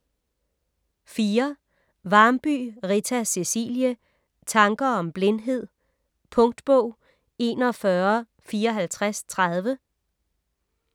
Varmby, Rita Cecilie: Tanker om blindhed Punktbog 415430